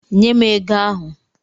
Nye m ego ahụ!